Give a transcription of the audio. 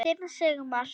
Þinn Sigmar.